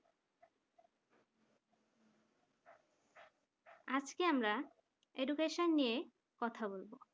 আজকে আমরা education নিয়ে কথা বলব